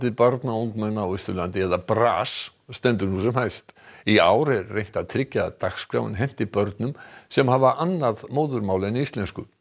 barna og ungmenna á Austurlandi eða stendur nú sem hæst í ár er reynt að tryggja að dagskráin henti börnum sem hafa annað móðurmál en íslensku